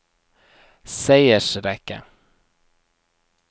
seiersrekke